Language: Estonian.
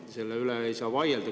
Selle üle ei saa vaielda.